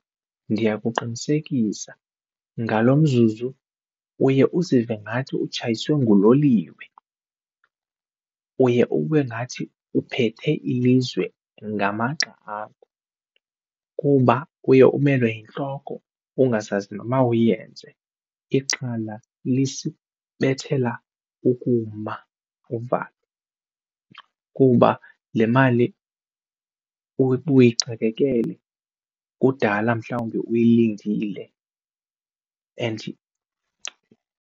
Ndiyakuqinisekisa ngalo mzuzu uye uzive ngathi utshayiswe nguloliwe, uye ube ngathi uphethe ilizwe ngamagxa akho kuba uye umelwe yintloko ungazazi nomawuyenze ixhala lisibethela ukuma uvalo kuba le mali uyixakekele kudala mhlawumbi uyilindile and.